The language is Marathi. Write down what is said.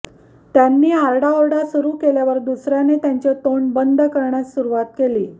त्यांनी आरडाओरडा सुरू केल्यावर दुसऱ्याने त्यांचे तोंड बंद कऱण्यास सुरुवात केली